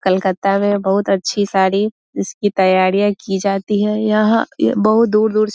कलकत्ता में बहुत अच्छी साड़ी इसकी तैयारियाँ की जाती है यहाँ बहुत दूर-दूर से --